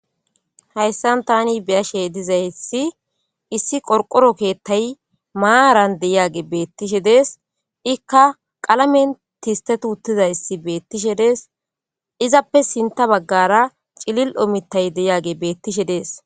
Hayisan tani beashe dizay hessi issi qorqoro keettay maaran deyage beettishe dees ikka qalamen tistet uttidayssi beettishe dees izappe sinita baggara cilil omittay deyage beettishe dees